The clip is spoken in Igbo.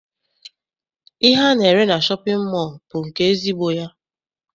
Ihe ana-ere na shọpịn mọọ bụ nke ezigbo ya.